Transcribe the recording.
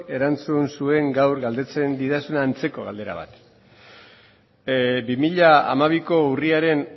erantzun zuen gaur galdetzen didazun antzeko galdera bat bi mila hamabiko urriaren